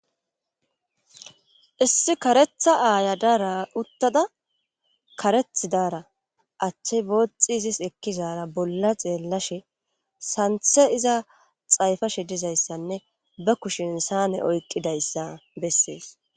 Issi karetha aya de'ara utada achi izis bothi ekizara bolla xeelashe sanithe iza xayipashe dizaysane ba kushen sanee oyikidaysa beses